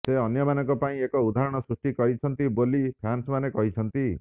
ସେ ଅନ୍ୟମାନଙ୍କ ପାଇଁ ଏକ ଉଦାହରଣ ସୃଷ୍ଟି କରିଛନ୍ତି ବୋଲି ଫ୍ୟାନ୍ସମାନେ କହିଛନ୍ତି